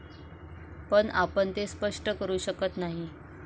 पण आपण ते स्पष्ट करू शकत नाही.